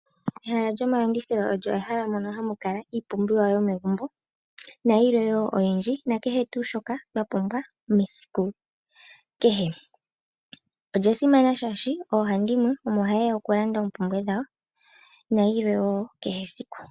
Ehala lyomalandithilo olyo ehala mono hamu kala iipumbiwa yomegumbo nayilwe wo oyindji nakehe tuu shoka twa pumbwa mesiku kehe. Olya simana oshoka oohandimwe omo haye ya okulanda oompumbwe dhawo nayilwe wo kehe esiku.